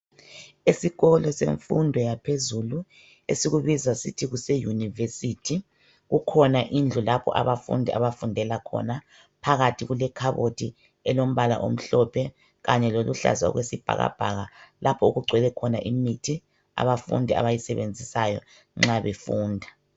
Esikolo semfundo yaphezulu esikubiza sithi kuse yunivesithi kukhona indlu lapho abafundi abafundela khona phakathi kule khabothi elombala omhlophe kanye loluhlaza okwesibhakabhaka lapho okugcwele khona imithi abafundi abayisebenzisayo nxa befunda